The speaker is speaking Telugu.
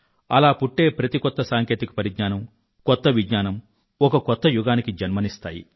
అలా పుట్టే ప్రతి కొత్త సాంకేతిక పరిజ్ఞానం కొత్త విజ్ఞానం ఒక కొత్త యుగానికి జన్మనిస్తాయి